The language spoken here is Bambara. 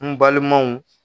N balimanw